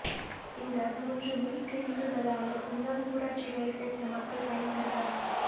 இந்த மூன்று மினி கிளினிக்குகளால் ஒன்பது ஊராட்சிகளை சேர்ந்த மக்கள் பயன்பெறுவர்